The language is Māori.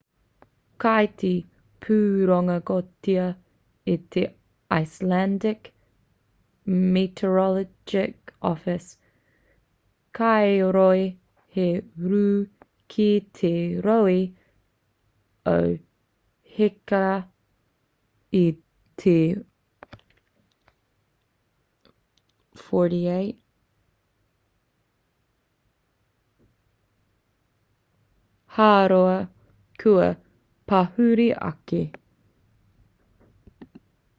kei te pūrongotia e te icelandic meteorological office kāore he rū ki te rohe o hekla i te 48 hāora kua pahure ake